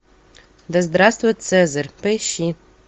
да здравствует цезарь поищи